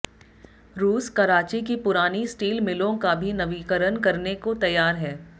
रूस कराची की पुरानी स्टील मिलों का भी नवीकरण करने को तैयार है